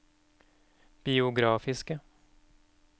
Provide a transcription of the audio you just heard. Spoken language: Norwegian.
biografiske